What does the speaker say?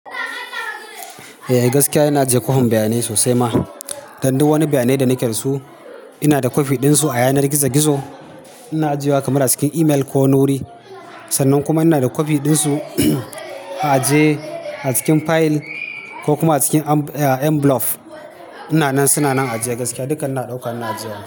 Eh gaskiya ina je kohon bayanai sosai ma. Dan duk wani bayanai da nake su ina da kwafi ɗin su a yanar gizo-gizo. Ina ajiye wa kamar a cikin email ko nuri. Sannan kuma ina da kwafi ɗin su a aje a cikin fayil ko kuma a cikin enbulof. Ina nan suna nan a ajiye gaskiya. Dukkan su ina ɗauka ina ajiye.